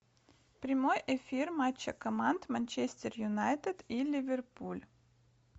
прямой эфир матча команд манчестер юнайтед и ливерпуль